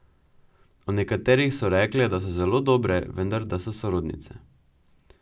O nekaterih so rekle, da so zelo dobre, vendar da so sorodnice.